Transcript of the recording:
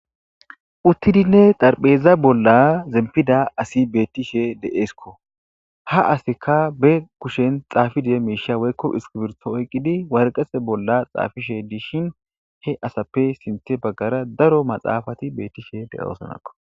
Uttidinne darpheeza bolla zempida asi bettishe de'eesikko ha aseka be kushen xaafidie miisha woykko iskibirho oyqqidi warqese bolla xaafishe diishin he asappe sinthe baggara daro maxaafati bettishe de7oosanakko